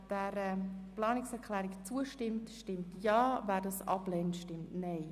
Wer dieser Planungserklärung zustimmt, stimmt Ja, wer diese ablehnt, stimmt Nein.